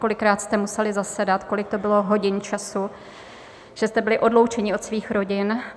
Kolikrát jste museli zasedat, kolik to bylo hodin času, že jste byli odloučeni od svých rodin.